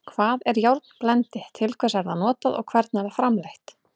Hvað er járnblendi, til hvers er það notað og hvernig er það framleitt?